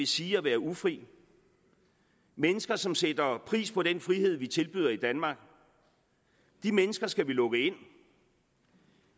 sige at være ufri mennesker som sætter pris på den frihed vi tilbyder i danmark de mennesker skal vi lukke ind